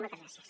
moltes gràcies